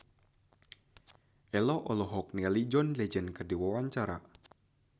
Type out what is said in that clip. Ello olohok ningali John Legend keur diwawancara